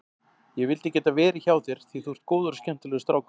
Ég vildi geta verið hjá þér því þú ert góður og skemmtilegur strákur.